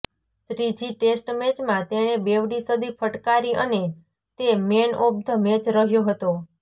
ત્રીજી ટેસ્ટ મેચમાં તેણે બેવડી સદી ફટકારી અને તે મેન ઓફ ધ મેચ રહ્યો હતો